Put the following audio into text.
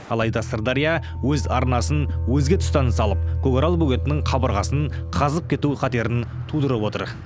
алайда сырдария өз арнасын өзге тұстан салып көкарал бөгетінің қабырғасын қазып кету қатерін тудырып отыр